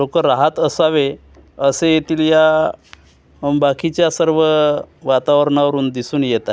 लोकं राहत असावे असं येथील या बाकीच्या सर्व वातावरणावरून दिसून येतंय.